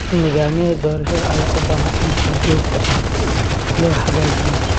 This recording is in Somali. Nidaamyada doorashada ayaa u baahan in si joogto ah loo hagaajiyo.